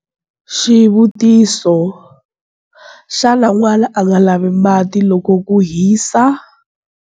Xivutiso- Xana n'wana a nga lavi mati loko ku hisa?